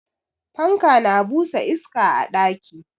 Fanka na busa iska a ɗaki.